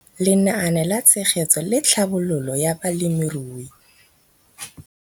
Lenaane la Tshegetso le Tlhabololo ya Balemirui.